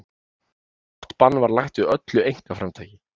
Blátt bann var lagt við öllu einkaframtaki.